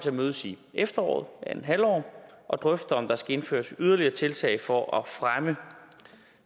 at mødes i efteråret og drøfte om der skal indføres yderligere tiltag for at fremme